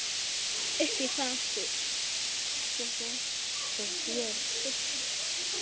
Hún var vön því.